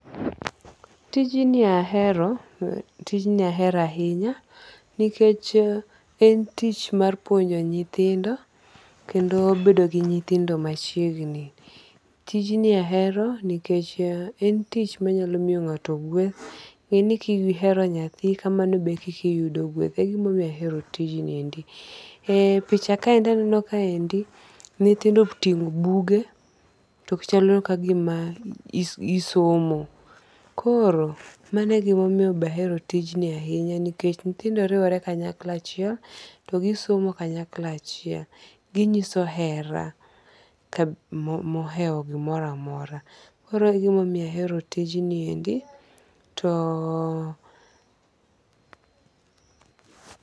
Tijni ahero tijni ahero ahinya nikech en tich mar puonjo nyithindo kendo bedo gi nyithindo machiegni tijni ahero nich en tich manyalo miyo nga'to gweth nge'ni ka ihero nyathi be kika iyudo gweth. e picha kaendi aneno kaendi nyithindo otingo' buge to chalo kagima gisomo koro mano e gima omiyo be ahero tijni ahinya nikech nyithindo riwore kanyakla achiel to gisomo kanyakla achiel ginyiso hera mohewo gimoro amora koro egima omiyo ahero tijni endi to